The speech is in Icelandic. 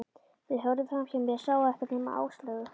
Þeir horfðu framhjá mér, sáu ekkert nema Áslaugu.